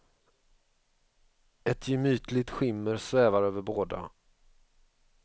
Ett gemytligt skimmer svävar över båda.